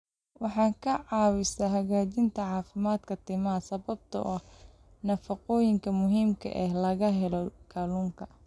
Waxay ka caawisaa hagaajinta caafimaadka timaha sababtoo ah nafaqooyinka muhiimka ah ee laga helo kalluunka.